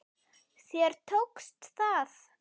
Þér tókst það!